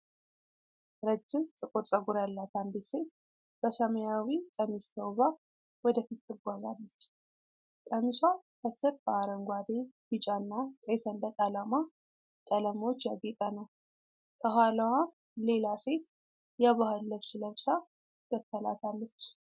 ረጅም ጥቁር ፀጉር ያላት አንዲት ሴት በሰማያዊ ቀሚስ ተውባ ወደፊት ትጓዛለች። ቀሚሷ ከስር በአረንጓዴ፣ ቢጫና ቀይ ሰንደቅ ዓላማ ቀለሞች ያጌጠ ነው። ከኋላዋም ሌላ ሴት የባህል ልብስ ለብሳ ትከተላታለች።